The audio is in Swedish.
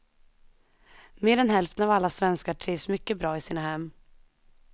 Mer än hälften av alla svenskar trivs mycket bra i sina hem.